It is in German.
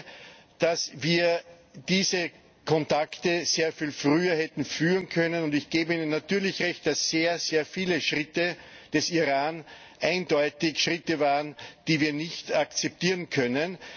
Ich glaube, dass wir diese Kontakte sehr viel früher hätten aufnehmen können, und ich gebe Ihnen natürlich Recht, dass sehr, sehr viele Schritte des Iran eindeutig Schritte waren, die wir nicht akzeptieren können.